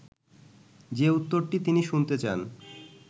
যে উত্তরটি তিনি শুনতে চান